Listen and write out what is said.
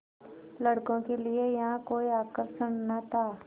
लड़कों के लिए यहाँ कोई आकर्षण न था